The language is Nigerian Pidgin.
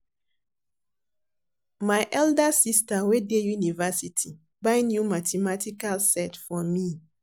My elder sister wey dey university buy new mathematical set for me